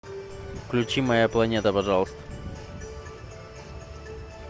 включи моя планета пожалуйста